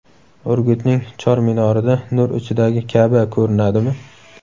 Urgutning Chor chinorida nur ichidagi Ka’ba ko‘rinadimi?.